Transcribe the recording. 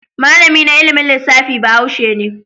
Malami na ilimin lissafi Bahaushe ne.